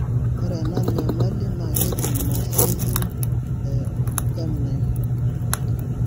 Ore ena nyamali naakeji Mosaicism e germline,